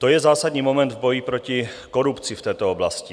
To je zásadní moment v boji proti korupci v této oblasti.